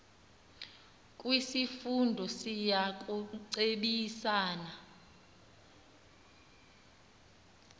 kwisifundo siya kucebisana